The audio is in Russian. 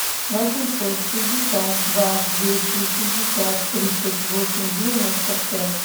восемьсот шестьдесят два двести шестьдесят тридцать восемь девяносто пять